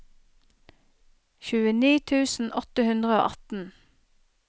tjueni tusen åtte hundre og atten